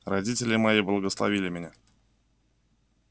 родители мои благословили меня